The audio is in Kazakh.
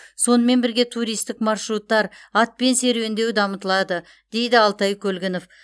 сонымен бірге туристік маршруттар атпен серуендеу дамытылады дейді алтай көлгінов